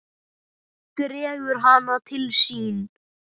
Dregur hana til sín.